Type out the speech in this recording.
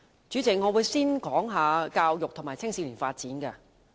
主席，我會先談教育和青少年發展。